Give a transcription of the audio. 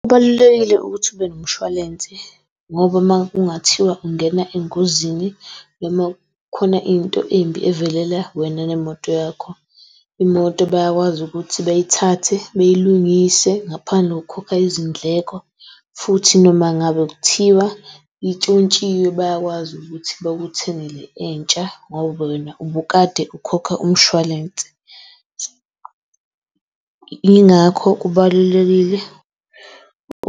Kubalulekile ukuthi ube nomshwalense ngoba makungathiwa ungena engozini noma kukhona into embi evelela wena nemoto yakho, imoto bayakwazi ukuthi beyithathe beyilungise ngaphandle kokukhokha izindleko. Futhi noma ngabe kuthiwa itshontshiwe bayakwazi ukuthi bakuthengele entsha ngoba wena ubukade ukhokha umshwalense. Yingakho kubalulekile